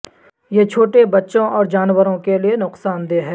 یہ چھوٹے بچوں اور جانوروں کے لئے نقصان دہ ہے